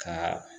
Ka